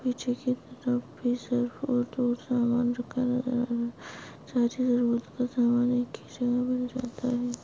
पीछे की तरफ जरूरत का सामान रखा गया है सारी जरूरत का सामान एक ही जगह मिल जाता है।